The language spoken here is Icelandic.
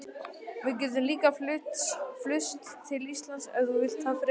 Við gætum líka flust til Íslands, ef þú vildir það frekar.